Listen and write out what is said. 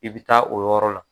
I bɛ taa o yɔrɔ la